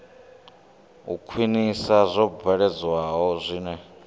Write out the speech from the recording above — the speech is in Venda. u khwinisa zwo bveledzwaho zwine